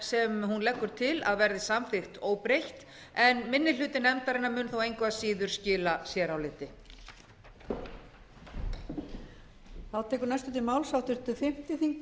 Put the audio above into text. sem en leggur til að verði samþykkt óbreytt en minni hluti nefndarinnar mun þó engu að síður skila séráliti